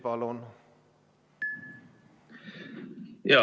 Palun!